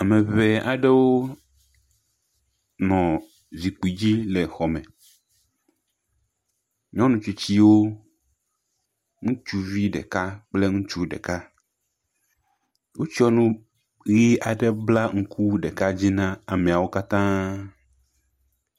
Ame ŋee aɖewo nɔ zikpui dzi le xɔ me, nyɔnu tsitsiwo, ŋutsuvi ɖeka kple ŋutsu ɖeka, wotsɔ nu ʋi aɖe bla ŋku ɖeka dzi na ameawo katãa.